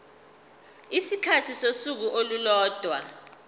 isikhathi sosuku olulodwa